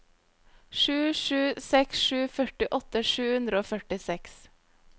sju sju seks sju førtiåtte sju hundre og førtiseks